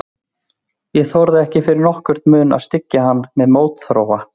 Ég þorði ekki fyrir nokkurn mun að styggja hann með mótþróa.